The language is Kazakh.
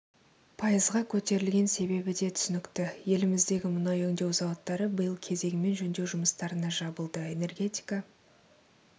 пайызға көтерілген себебі де түсінікті еліміздегі мұнай өңдеу зауыттары биыл кезегімен жөндеу жұмыстарына жабылды энергетика